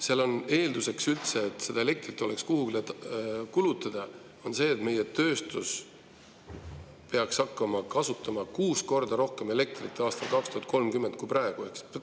Seal on eelduseks, et seda elektrit üldse oleks kuhugi kulutada, see, et meie tööstus peaks hakkama aastal 2030 kasutama kuus korda rohkem elektrit kui praegu.